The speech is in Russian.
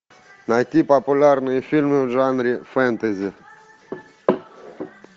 найти популярные фильмы в жанре фэнтези